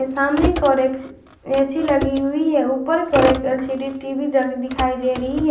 सामने की ओर एक ए_सी लगी हुई है ऊपर की ओर एक एल_सी_डी टी_वी र दिखाई दे रही है।